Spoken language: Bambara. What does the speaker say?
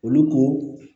Olu ko